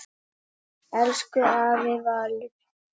Elsku afi Valur.